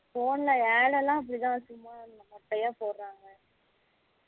phone ல Ad லாம் அப்படிதான் சும்மா மோட்டயா போடுராங்க